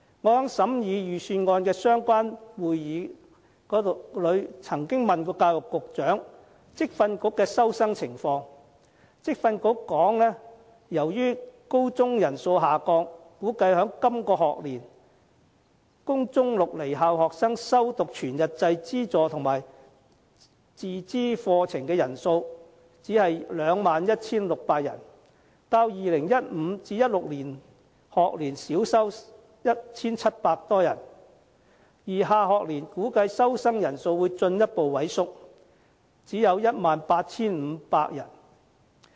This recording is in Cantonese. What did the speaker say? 我在審議預算案的相關會議中，曾經詢問教育局局長有關職業訓練局的收生情況，而職訓局的答覆是，由於高中人數下降，估計在今個學年，供中六離校生修讀全日制資助和自資課程的人數只有 21,600 人，較 2015-2016 學年少收 1,700 多人，而下學年估計收生人數會進一步萎縮，只有 18,500 人。